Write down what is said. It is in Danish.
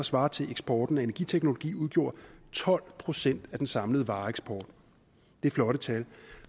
svarer til at eksporten af energiteknologi udgjorde tolv procent af den samlede vareeksport det er flotte tal